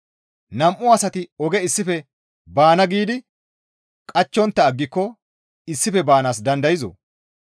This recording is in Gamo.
Nam7u asati oge issife baana giidi qachchontta aggiko issife baanaas dandayzoo?